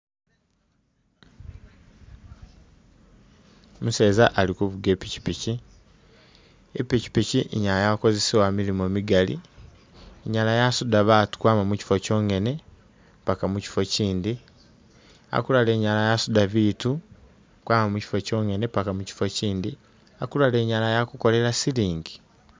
Umuseza ali kuvuga ipikipiki ipikipiki inyala yakozesewa milimo migali inyala yasuda batu kwama mukyifo kyonyene paka mukifo kyindi, akulala inyala yasuda biitu kwama mukifo kyonyene paka mukyifo mukyindi akulala inyala yakukolele silingi.